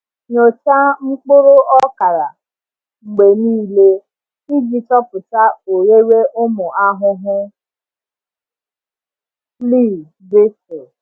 Nyochaa mkpụrụ okra mgbe niile iji chọpụta oghere ụmụ ahụhụ flea beetle.